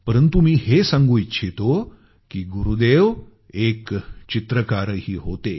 परंतु मी हे सांगू इच्छितो की गुरुदेव एक चित्रकारही होते